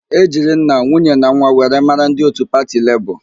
E jiri nna, nwunye na nwa were mara ndị òtù pati Lebọọ.